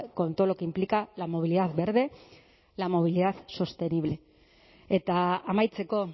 con todo lo que implica la movilidad verde la movilidad sostenible eta amaitzeko